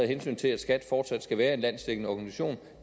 hensyn til at skat fortsat skal være en landsdækkende organisation